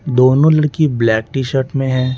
दोनों लड़की black t shirt में हैं।